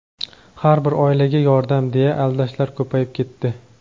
"har bir oilaga yordam" deya aldashlar ko‘payib ketdi.